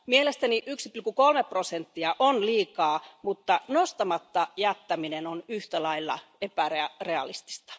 Mielestäni 1,3 prosenttia on liikaa, mutta nostamatta jättäminen on yhtä lailla epärealistista.